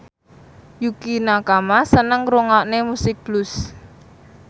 Yukie Nakama seneng ngrungokne musik blues